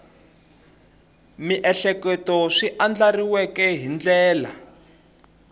miehleketo swi andlariweke hi ndlela